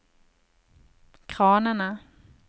kranene